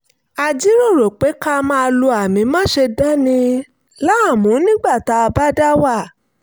a jíròrò pé ká máa lo àmì "máṣe dani láàmú" nígbà tá a bá dá wà